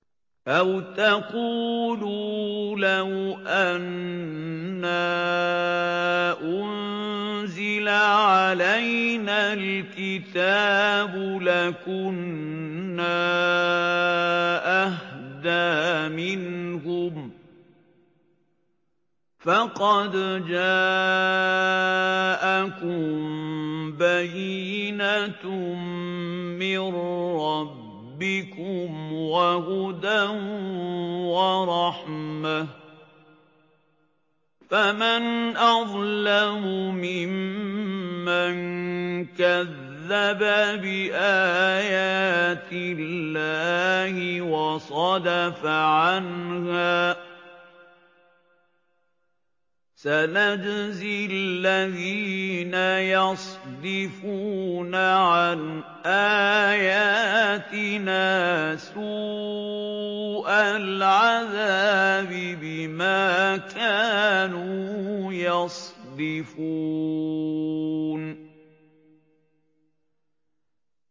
أَوْ تَقُولُوا لَوْ أَنَّا أُنزِلَ عَلَيْنَا الْكِتَابُ لَكُنَّا أَهْدَىٰ مِنْهُمْ ۚ فَقَدْ جَاءَكُم بَيِّنَةٌ مِّن رَّبِّكُمْ وَهُدًى وَرَحْمَةٌ ۚ فَمَنْ أَظْلَمُ مِمَّن كَذَّبَ بِآيَاتِ اللَّهِ وَصَدَفَ عَنْهَا ۗ سَنَجْزِي الَّذِينَ يَصْدِفُونَ عَنْ آيَاتِنَا سُوءَ الْعَذَابِ بِمَا كَانُوا يَصْدِفُونَ